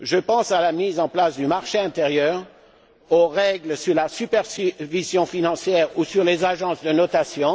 Je pense à la mise en place du marché intérieur, aux règles sur la supervision financière ou sur les agences de notation.